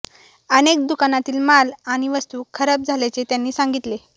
अनेक दुकानातील माल आणि वस्तू खराब झाल्याचे त्यांनी सांगितले